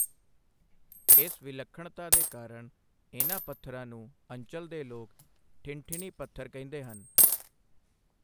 ਇਸ ਵਿਲੱਖਣਤਾ ਦੇ ਕਾਰਨ ਇਹਨਾਂ ਪੱਥਰਾਂ ਨੂੰ ਅੰਚਲ ਦੇ ਲੋਕ ਠਿਨਠਿਨੀ ਪੱਥਰ ਕਹਿੰਦੇ ਹਨ।